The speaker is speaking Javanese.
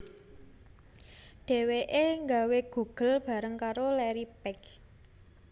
Dhéwéké gawé Google bareng karo Larry Page